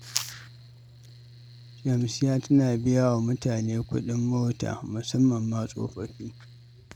Shamsiyya tana biya wa mutane kuɗin mota, musamman ma tsofaffi.